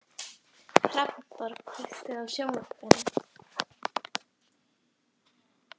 Hrafnborg, kveiktu á sjónvarpinu.